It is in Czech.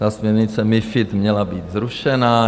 Ta směrnice MiFID měla být zrušena.